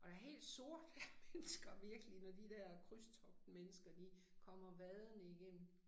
Og der helt sort af mennesker virkelig når de dér krydstogtmennesker de kommer vadende igennem